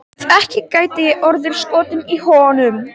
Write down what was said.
Guð, ekki gæti ég orðið skotin í honum.